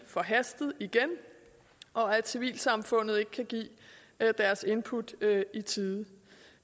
forhastet og at civilsamfundet ikke kan give deres input i tide